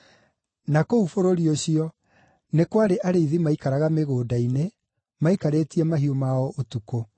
Na kũu bũrũri ũcio, nĩ kwarĩ arĩithi maikaraga mĩgũnda-inĩ, maikarĩtie mahiũ mao ũtukũ.